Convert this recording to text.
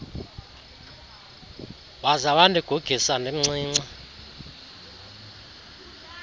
waza wandigugisa ndimncinci